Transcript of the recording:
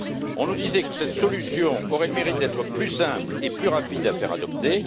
On nous disait que cette solution aurait le mérite d'être plus simple et plus rapide à faire adopter.